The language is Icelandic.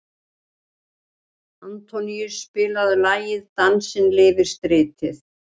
Antoníus, spilaðu lagið „Dansinn lifir stritið“.